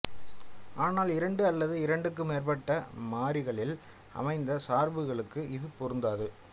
ஆனால் இரண்டு அல்லது இரண்டுக்கு மேற்பட்ட மாறிகளில் அமைந்த சார்புகளுக்கு இது பொருந்தாது